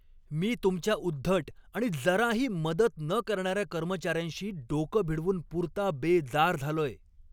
मी तुमच्या उद्धट आणि जराही मदत न करणाऱ्या कर्मचाऱ्यांशी डोकं भिडवून पुरता बेजार झालोय.